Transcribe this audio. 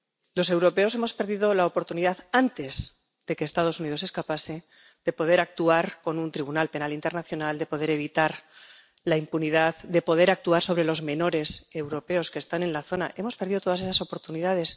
Los europeos hemos perdido la oportunidad, antes de que los Estados Unidos escapasen, de poder actuar con un tribunal penal internacional, de poder evitar la impunidad, de poder actuar sobre los menores europeos que están en la zona hemos perdido todas esas oportunidades.